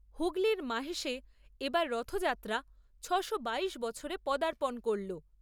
হুগলীর মাহেশে এবার রথযাত্রা ছয়শো বাইশ বছরে পদাপর্ণ করলো।